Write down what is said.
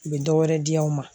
U bɛ dɔwɛrɛ di yan